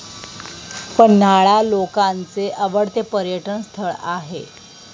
पन्हाळा लोकांचे आवडते पर्यटन स्थळ आहे